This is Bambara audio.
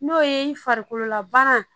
N'o ye farikololabana